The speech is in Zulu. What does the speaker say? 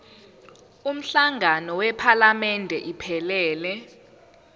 umhlangano wephalamende iphelele